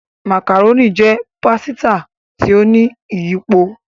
Macaroni jé pàsìta tí o ní iyípo